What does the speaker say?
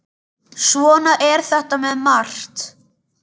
Svona er þetta með margt.